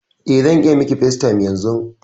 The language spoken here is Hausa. Eh, zan iya miƙi facetime yanzun.